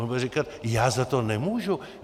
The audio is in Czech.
On bude říkat: Já za to nemůžu.